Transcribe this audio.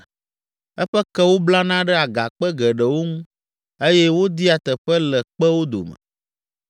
eƒe kewo blana ɖe agakpe geɖewo ŋu eye wodia teƒe le kpewo dome.